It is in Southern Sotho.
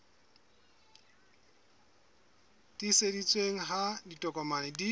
e tiiseditsweng ha ditokomane di